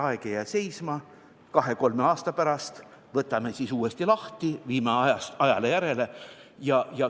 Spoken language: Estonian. Aeg ei jää seisma, kahe-kolme aasta pärast võtame seaduse uuesti lahti, viime selle ajale järele.